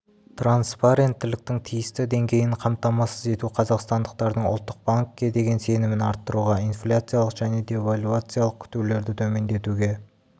транспаренттіліктің тиісті деңгейін қамтамасыз ету қазақстандықтардың ұлттық банкке деген сенімін арттыруға инфляциялық және девальвациялық күтулерді төмендетуге